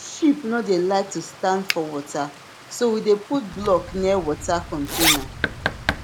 sheep no dey like to stand for water so we dey put block near water container